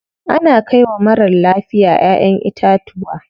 Ana kai wa marar lafiya ƴaʼƴen itatuwa.